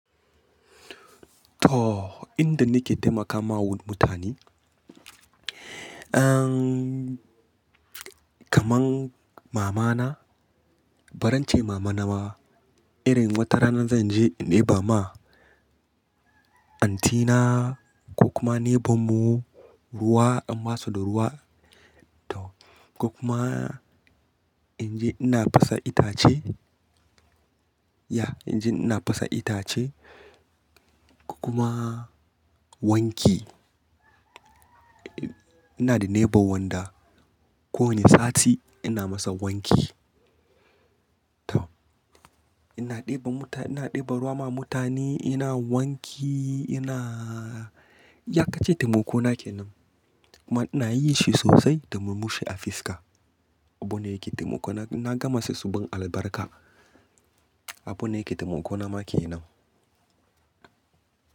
To, inda nake taimakawa mutane, kamar mamana, bari in ce mama nawa. Irin wata rana zan je in ɗeba ma auntina ko kuma neighbor mu ruwa, an ba su da ruwa. Ko kuma in je ina fasa itace. Ya, in je ina fasa itace ko kuma wanki. Ina da neighbor wanda kowane sati ina masa wanki. To, ina ɗeba ruwa ma mutane, ina wanki, ina yakace taimako nake nan. Kuma ina yi shi sosai domin mu sha afiska. Abune yake taimako. Na gama su su ban albarka. Abun ne yake taimako na ke nan.